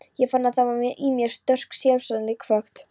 Ég fann að það var í mér sterk sjálfseyðingarhvöt.